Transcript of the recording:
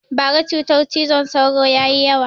Bara cutar cizon sauro ya yi yawa